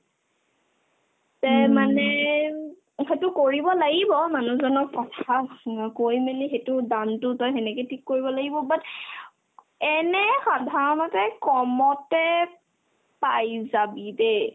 তে মানে কথাতো কৰিব লাগিব মানুহজনক কথা উম কৈ মেলি সেটো দামতো তই সেনেকে ঠিক কৰিব লাগিব but এনে সাধাৰণতে কমতে পাই যাবি দে